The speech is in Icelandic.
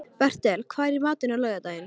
Bertel, hvað er í matinn á laugardaginn?